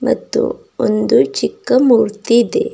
ಮತ್ತು ಒಂದು ಚಿಕ್ಕ ಮೂರ್ತಿ ಇದೆ.